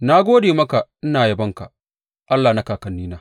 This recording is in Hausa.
Na gode maka ina yabonka, Allah na kakannina.